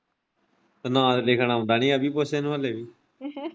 ਤੇ ਲਿਖਣਾ ਆਉਂਦਾ ਨੀ ਅਭੀ ਪੁੱਛ ਇਨੂੰ ਹਾਲੇ ਵੀ